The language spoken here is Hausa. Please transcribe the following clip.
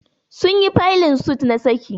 Sun yi faylin suit na saki